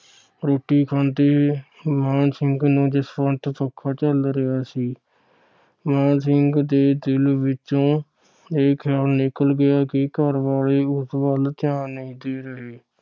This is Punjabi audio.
ਰੋਟੀ ਖਾਂਦੇ ਮਾਣ ਸਿੰਘ ਨੂੰ ਜਸਵੰਤ ਸਿੰਘ ਪੱਖਾ ਚੱਲ ਰਿਹਾ ਸੀ। ਮਾਣ ਦੇ ਦਿਲ ਵਿਚੋਂ ਇਹ ਖਿਆਲ ਨਿਕਲ ਗਿਆ ਕਿ ਘਰਵਾਲੇ ਉਸ ਵੱਲ ਧਿਆਨ ਨਹੀਂ ਦੇ ਰਹੇ।